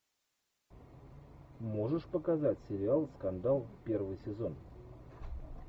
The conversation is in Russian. можешь показать сериал скандал первый сезон